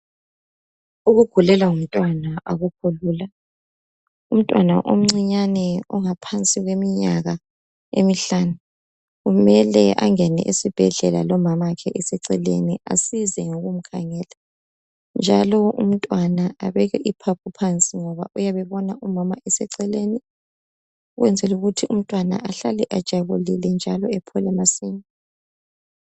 Ukugulelwa ngumtwana akukho lula umntwana, omncinyane ongaphansi kweminyaka emihlanu kumele angene esibhedlela lomama wakhe eseceleni asize ngokumkhangela njalo umntwana abeke iphapho phansi ngoba uyabe ebona umama ecele ukuyenzela ukuthi umntwana ahlale ejabulile aphole masinyane.